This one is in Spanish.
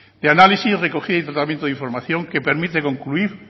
de análisis recogida y tratamiento de información que permite concluir